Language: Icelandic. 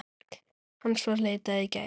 Hans var leitað í gær.